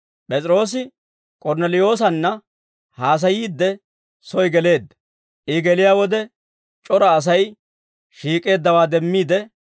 P'es'iroosi K'ornneliyoosanna haasayiidde, soy geleedda; I geliyaa wode c'ora Asay shiik'eeddawaa demmiide,